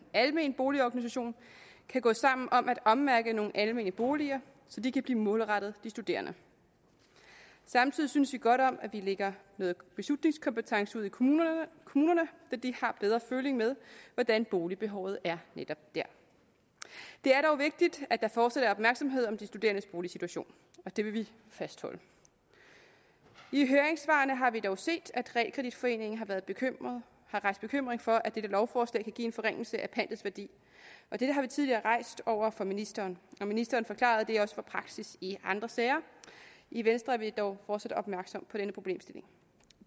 almen boligorganisation kan gå sammen om at ommærke nogle almene boliger så de kan blive målrettet de studerende samtidig synes vi godt om at vi lægger noget beslutningskompetence ud i kommunerne kommunerne da de har bedre føling med hvordan boligbehovet er netop der det er dog vigtigt at der fortsat er opmærksomhed om de studerendes boligsituation og det vil vi fastholde i høringssvarene har vi dog set at realkreditforeningen har været bekymret for at dette lovforslag kan give en forringelse af pantets værdi dette har vi tidligere rejst over for ministeren og ministeren forklarede at det også var praksis i andre sager i venstre er vi dog fortsat opmærksom på denne problemstilling